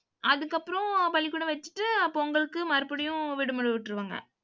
அதுக்கப்புறம், பள்ளிக்கூடம் வச்சுட்டு பொங்கலுக்கு மறுபடியும் விடுமுறை விட்டுருவாங்க.